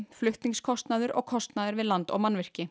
flutningskostnaður og kostnaður við land og mannvirki